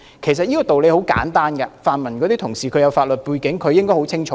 其實這個道理很簡單，這位泛民同事有法律背景，他應該比我清楚。